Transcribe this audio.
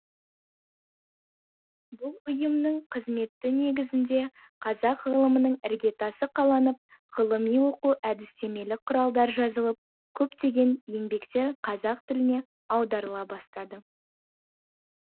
бұл ұйымның қызметі негізінде қазақ ғылымының іргетасы қаланып ғылыми оқу әдістемелік құралдар жазылып көптеген еңбектер қазақ тіліне аударыла бастады